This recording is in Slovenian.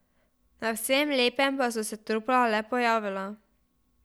Na vsem lepem pa so se trupla le pojavila.